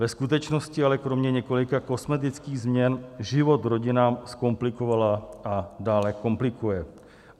Ve skutečnosti ale kromě několika kosmetických změn život rodinám zkomplikovala a dále komplikuje.